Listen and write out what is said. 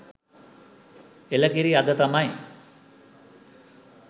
එළ කිරි අද තමයි